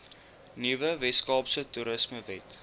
nuwe weskaapse toerismewet